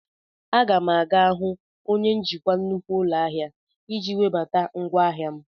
A ga m aga hụ onye njikwa nnukwu ụlọ ahịa iji webata ngwaahịa m.